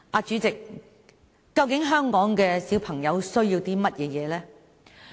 主席，究竟香港的小孩需要甚麼呢？